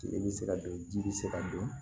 Tile bɛ se ka don ji bɛ se ka don